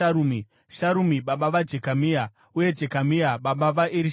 Sharumi baba vaJekamia, uye Jekamia aiva baba vaErishama.